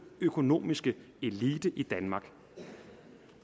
økonomiske elite i danmark